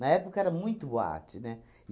Na época era muito boate, né?